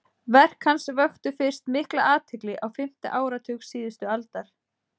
verk hans vöktu fyrst mikla athygli á fimmta áratug síðustu aldar